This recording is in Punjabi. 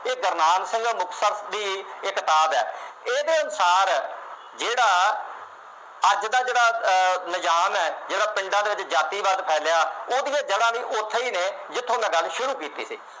ਇਹ ਗੁਰਨਾਮ ਸਿੰਘ ਮੁਸਤੱਕ ਦੀ ਇਹ ਕਿਤਾਬ ਹੈ। ਇਹਦੇ ਅਨੁਸਾਰ ਜਿਹੜਾ ਅੱਜ ਦਾ ਜਿਹੜਾ ਅਹ ਨਿਜ਼ਾਮ ਹੈ, ਜਿਹੜਾ ਪਿੰਡਾਂ ਦੇ ਵਿੱਚ ਜਾਤੀਵਾਦ ਫੈਲਿਆ, ਉਹ ਦੀਆਂ ਜੜ੍ਹਾ ਵੀ ਉੱਥੇ ਨੇ, ਜਿੱਥੋਂ ਮੈਂ ਗੱਲ ਸ਼ੁਰੂ ਕੀਤੀ ਸੀ।